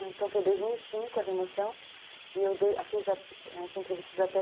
Então foi dois mil e cinco a remoção e eu fiz as entrevistas até